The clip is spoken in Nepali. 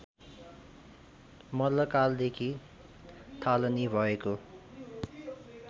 मल्लकालदेखि थालनी भएको